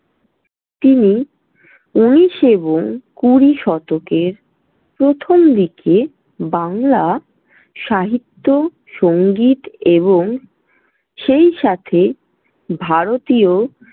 তিনি উনিশ এবং কুড়ি শতকের প্রথম দিকে বাংলা সাহিত্য, সঙ্গীত এবং সেইসাথে ভারতীয়।